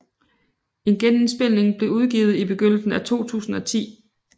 En genindspilning blev udgivet i begyndelsen af 2010